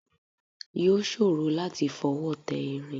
Yóò ṣòro láti fọwọ́ tẹ irin